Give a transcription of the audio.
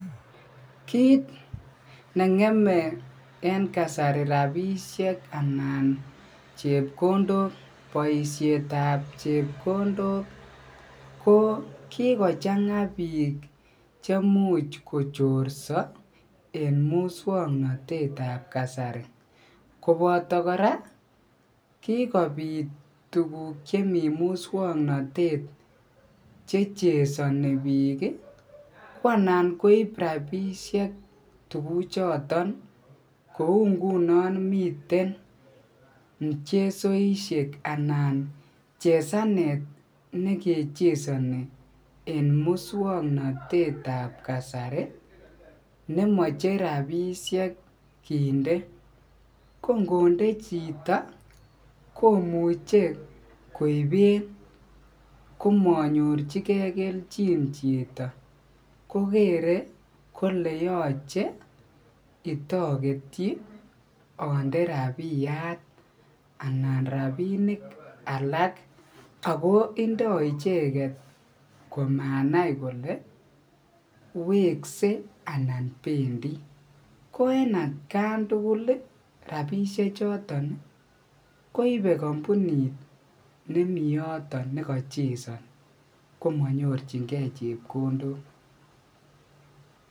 Kiit ng'emei en kasari rapishe anan chepkondok boishet ap chepkondok ko kikochanga biik chemuch kochorso en musongnotet ap kasari koboto kora kikopit tukuk chemii musongnotet chechesoni biik ko ana koip ropisiek tukuchoton kou nguno miten muchesoishek anan chesanet nekechesoni eng musongnotet ap kasari nemochei rapishe kinde ko ngonde chito komuchei koiben komanyorchigei keljin chito ko kerei kole yochei itoketchi ande rapiat anan rapinik alak ako indoi icheket komanai kole wekse anan bendi ko en atkan tugul rapisha choton koibei kampunit nemi yoton nekachesane komanyorchigei chepkondok